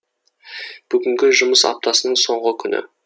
бүгін жұмыс аптасының соңғы күні